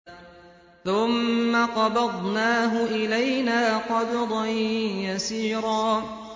ثُمَّ قَبَضْنَاهُ إِلَيْنَا قَبْضًا يَسِيرًا